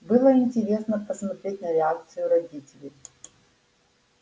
было интересно посмотреть на реакцию родителей